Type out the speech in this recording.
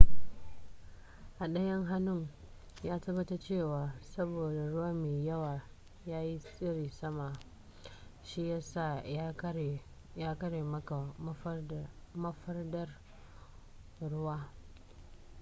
a daya hannun ya tabbata cewa saboda ruwa mai yawa yayi tsiri sama shi yasa ya kare maka mafadar ruwa